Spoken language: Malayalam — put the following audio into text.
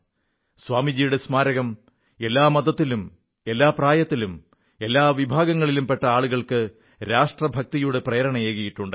സ്വാമിജിയുടെ സ്മാരകം എല്ലാ മതത്തിലും എല്ലാ പ്രായത്തിലും എല്ലാ വിഭാഗങ്ങളിലും പെട്ട ആളുകൾക്ക് രാഷ്ട്രഭക്തിയുടെ പ്രേരണയേകിയിട്ടുണ്ട്